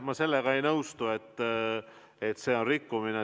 Ma sellega ei nõustu, et see on rikkumine.